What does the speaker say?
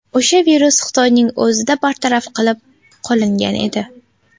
O‘sha virus Xitoyning o‘zida bartaraf qilib qolingan edi.